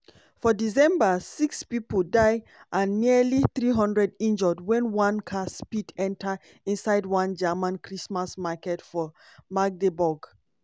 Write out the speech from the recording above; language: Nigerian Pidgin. for december six pipo die and nearly three hundred injure wen one car speed enta inside one german christmas market for magdeburg.